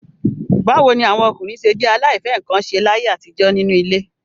Báwo ni àwọn ọkùnrin ṣé jẹ́ aláìfẹ́-nǹkan-ṣe láyé àtijọ́ nínú ilé?